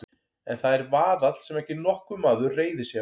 En það er vaðall sem ekki nokkur maður reiðir sig á.